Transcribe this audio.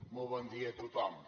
molt bon dia a tothom